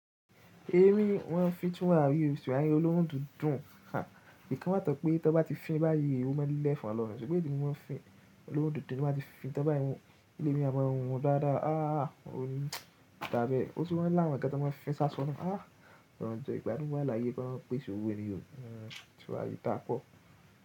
Èmi máa ń fi túràrí o tutari olóhun dídùn ká, i kan wà tọ̀ pé tọ bá ti fín báyìí, o mo ń lẹ efọ̀n lo ni. Ṣùgbọ́n bí wọ́n fi olóhun dídùn ni wọ́n má ti fi fín tọ bá iwo lẹ́ní ọmọ ohun dáadáa. Aah! Ó ní tàbí o tún wà làwọn kan tí wọ́n ma ń fi ṣáṣọ ná. Aah! Rọ̀ jọ ìgbàdùn wa lààyè kolorun pèsè òwo ní tùràrí da po.